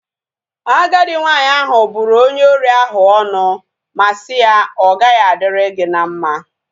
Agadi nwanyị ahu bụrụ onye ori ahu ọnụ ma si ya, ọ gaghị adịrị gị na mma